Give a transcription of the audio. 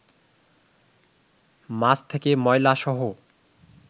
মাছ থেকে ময়লাসহ